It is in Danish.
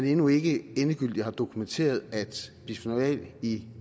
endnu ikke er endegyldigt dokumenteret at bisfenol a i